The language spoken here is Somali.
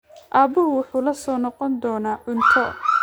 Aabuhu wuxuu la soo noqon doonaa cunto.